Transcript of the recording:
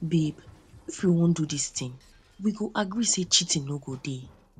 babe if if we wan do this thing we go gree say cheating no go dey